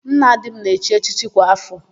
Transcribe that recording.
Nna di m na-echi echichi kwa áfọ̀.